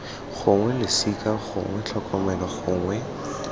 gongwe losika gongwe tlhokomelo gongwe